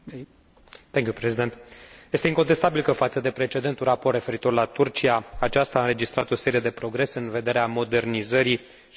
Este incontestabil că, față de precedentul raport referitor la Turcia, aceasta a înregistrat o serie de progrese în vederea modernizării și construirii unei democrații.